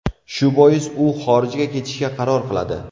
Shu bois, u xorijga ketishga qaror qiladi.